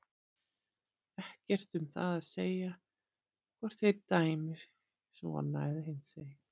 Ekkert um það að segja hvort þeir dæmi svona eða hinsegin.